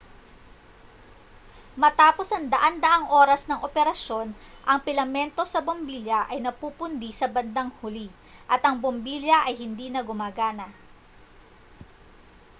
matapos ang daan-daang oras ng operasyon ang pilamento sa bombilya ay napupundi sa bandang huli at ang bombilya ay hindi na gumagana